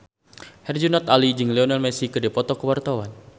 Herjunot Ali jeung Lionel Messi keur dipoto ku wartawan